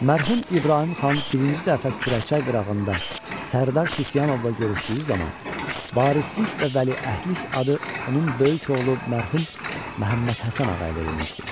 Mərhum İbrahim xan birinci dəfə kürəkçay qırağında Sərdar Sisiyanovla görüşdüyü zaman varislik və vəliəhdlik adı onun böyük oğlu mərhum Məhəmməd Həsən Ağaya verilmişdi.